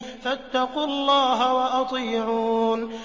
فَاتَّقُوا اللَّهَ وَأَطِيعُونِ